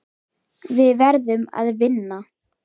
Við verðum að vinna.